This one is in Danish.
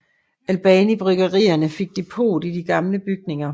Albanibryggerierne fik depot i de gamle bygninger